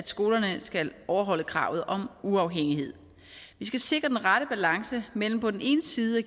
skolerne overholde kravet om uafhængighed vi skal sikre den rette balance mellem på den ene side